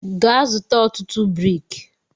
Gaa zụta ọtụtụ brik!